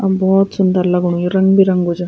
अब भौत सुन्दर लगणु यु रंग बिरंगो च।